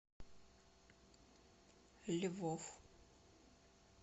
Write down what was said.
львов